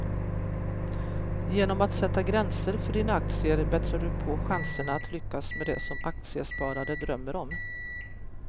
Genom att sätta gränser för dina aktier bättrar du på chanserna att lyckas med det som aktiesparare drömmer om.